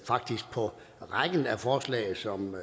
faktisk på rækken af forslag som